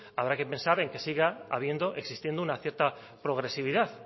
habrá que pensar en que siga habiendo existiendo una cierta progresividad